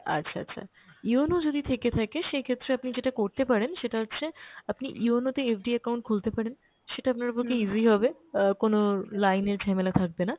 আচ্ছা আচ্ছা, yono যদি থেকে থাকে সেক্ষেত্রে আপনি যেটা করতে পারেন সেটা হচ্ছে আপনি yono তে FD account খুলতে পারেন, সেটা আপনার পক্ষে easy হবে, অ্যাঁ কোনো line এর ঝ্যেমেলা থাকবে না।